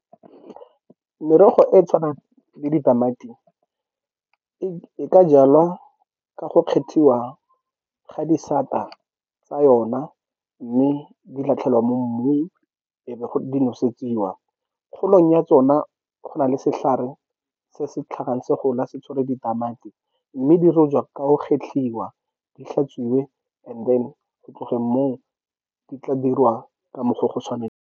Merogo e e tshwanang le ditamati e ka jalwa ka go kgethiwa ga disata tsa yona mme di latlhelwa mo mmung, e be go di nosetsiwa. Kgolong ya tsona go na le setlhare se se tlhagang se gola se tshwere ditamati, mme di rojwa ka o kgetlhiwa, di hlatsuwe and then go tlogeng mo di tla dirwa ka mokgwa go .